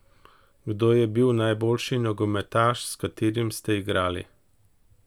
Kdo je bil najboljši nogometaš, s katerim ste igrali?